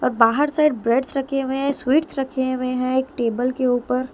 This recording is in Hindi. और बाहर साइड ब्रेड्स रखे हुए हैं स्वीट्स रखे हुए हैं एक टेबल के ऊपर ----